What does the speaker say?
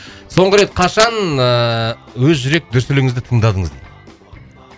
соңғы рет қашан ыыы өз жүрек дүрсіліңізді тыңдадыңыз